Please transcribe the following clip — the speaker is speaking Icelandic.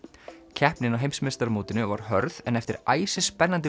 keppnin á heimsmeistaramótinu var hörð en eftir æsispennandi